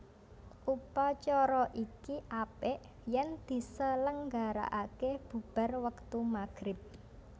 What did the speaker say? Upacara iki apik yen diselenggaraake bubar wektu maghrib